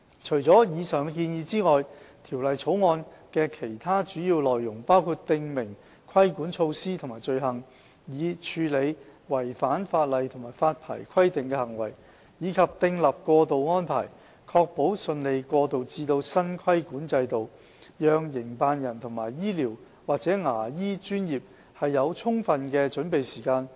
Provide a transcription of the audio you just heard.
除了以上的建議外，《條例草案》的其他主要內容包括訂明規管措施和罪行，以處理違反法例及發牌規定的行為，以及訂立過渡安排，確保順利過渡至新規管制度，讓營辦人和醫療/牙醫專業有充足的準備時間。